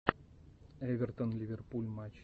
эвертон ливерпуль матч